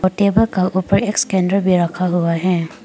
Table का ऊपर एक स्कैनर भी रखा हुआ हैं।